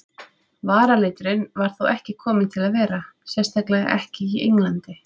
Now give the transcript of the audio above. Varaliturinn var þó ekki kominn til að vera, sérstaklega ekki í Englandi.